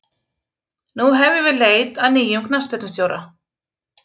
Nú hefjum við leit að nýjum knattspyrnustjóra.